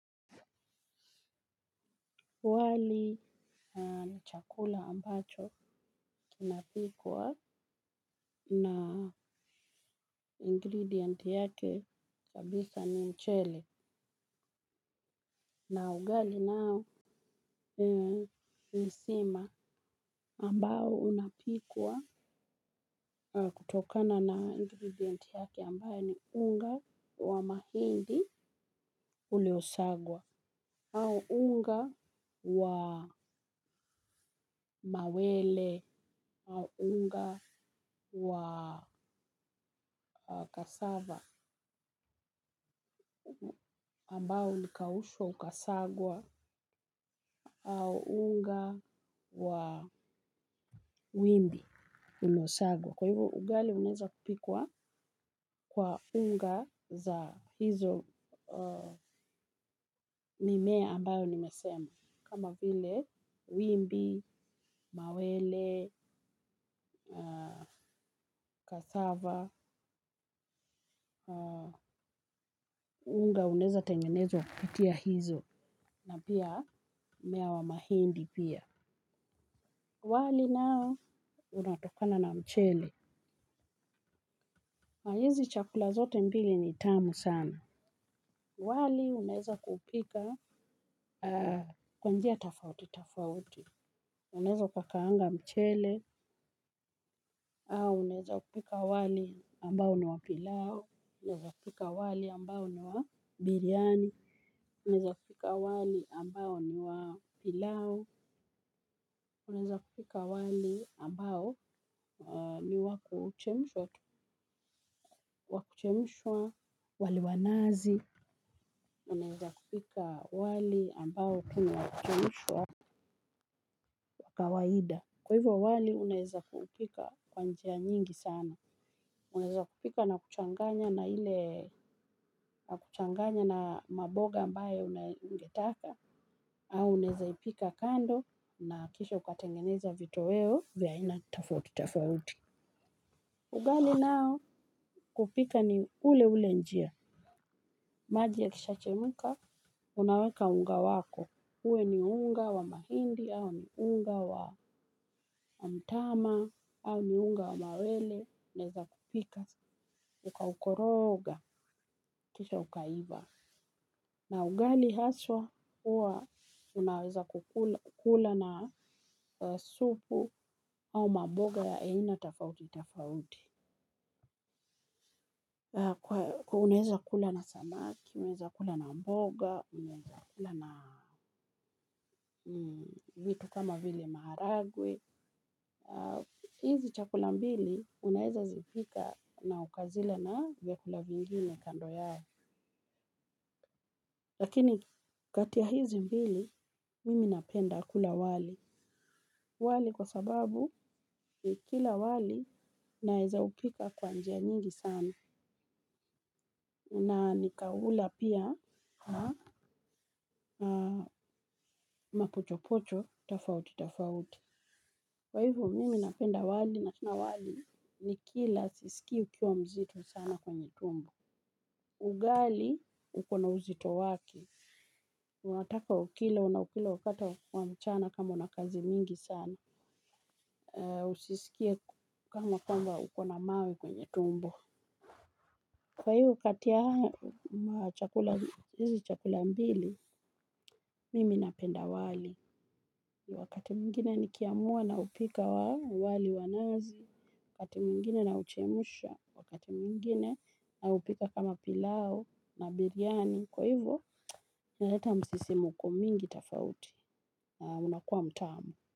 Wali ni chakula ambacho kinapikwa na ingredient yake kabisa ni mchele. Na ugali nao ni sima ambao unapikwa kutokana na ingredient yake ambayo ni unga wa mahindi uliosagwa. Au unga wa mawele au unga wa cassava ambao ulikaushwa ukasagwa, au unga wa wimbi unaosagwa. Kwa hivyo ugali unaeza kupikwa kwa unga za hizo mimea ambayo nimesema. Kama vile, wimbi, mawele, cassava. Unga unaeza tengenezwa kupitia hizo na pia mmea wa mahindi pia. Wali nao unatokana na mchele na hizi chakula zote mbili ni tamu sana. Wali unaeza kuupika kwa njia tofauti tofauti. Unaeza ukakaanga mchele au unaeza kupika wali ambao ni wa pilau. Unaeza kupika wali ambao ni wa biriani. Unaeza kupika wali ambao ni wa pilau, unaeza kupika wali ambao ni wa kuchemshwa, wa kuchemshwa, wali wa nazi, unaeza kupika wali ambao tu ni wa kuchemshwa, wa kawaida. Kwa hivyo wali unaeza ukaupika kwa njia nyingi sana. Unaeza kupika na kuchanganya na ile maboga ambaye ungetaka, au unaeza ipika kando na kisha ukatengeneza vitoweo vya aina tofauti tofauti. Ugali nao kuupika ni ule ule njia. Maji yakisha chemka, unaweka unga wako. Uwe ni unga wa mahindi, au ni unga wa mtama, au ni unga wa mawele. Unaeza kupika, ukaukoroga, kisha ukaiva. Na ugali haswa, huwa unaweza kukula na supu, au maboga ya aina, tofauti, tofauti. Unaeza kula na samaki, unaeza kula na mboga, unaeza kula na vitu kama vile maharagwe. Hizi chakula mbili unaeza zipika na ukazila na vyakula vingine kando yao lakini kati ya hizi mbili mimi napenda kula wali. Wali kwa sababu kila wali unaeza hupika kwa njia nyingi sana. Na nikaula pia mapochopocho, tofauti, tofauti. Kwa hivyo mimi napenda wali na tena wali ni kila sisikii ukiwa mzito sana kwenye tumbo. Ugali, uko na uzito wake. Unataka ukila, unaukula wakati wa mchana kama una kazi mingi sana. Usiskie kama kwamba uko na mawe kwenye tumbo. Kwa hivyo kati ya hizi chakula mbili, mimi napenda wali. Wakati mwingine nikiamua naupika wali wa nazi, wakati mwingine nauchemusha, wakati mwingine naupika kama pilau na biriani. Kwa hivyo, inaleta msisimko mingi tofauti na unakua mtamu.